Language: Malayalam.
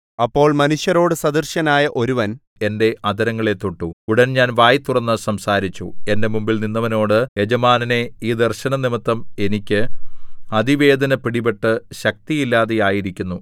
അപ്പോൾ മനുഷ്യരോടു സദൃശനായ ഒരുവൻ എന്റെ അധരങ്ങളെ തൊട്ടു ഉടൻ ഞാൻ വായ് തുറന്ന് സംസാരിച്ചു എന്റെ മുമ്പിൽ നിന്നവനോട് യജമാനനേ ഈ ദർശനംനിമിത്തം എനിക്ക് അതിവേദന പിടിപെട്ട് ശക്തിയില്ലാതെ ആയിരിക്കുന്നു